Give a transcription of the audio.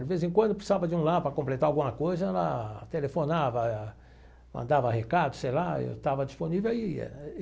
De vez em quando precisava de um lá para completar alguma coisa, ela telefonava, mandava recado, sei lá, eu estava disponível e ia.